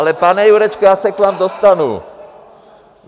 Ale pane Jurečko, já se k vám dostanu.